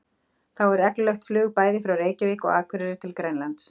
Þá er reglulegt flug bæði frá Reykjavík og Akureyri til Grænlands.